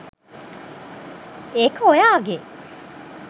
ඒක ඔයාගෙ